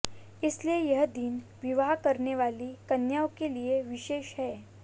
इसलिए यह दिन विवाह करने वाली कन्याओं के लिए विशेष है